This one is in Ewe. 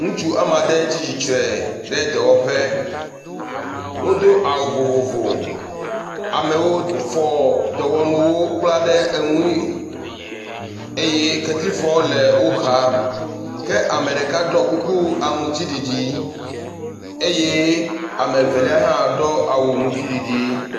Ŋutsu woame ade tsi tsitre ɖe dɔwɔƒe, wodo awu vovovo, amewo fɔ enuwo kpla ɖe eŋui eye kletifɔ le wo xa. Ke ame ɖeka ɖɔ kuku aŋutiɖiɖi eye ame evelia hã ɖɔ awu aŋutiɖiɖi.